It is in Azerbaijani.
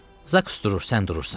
Zaqs durur, sən durursan.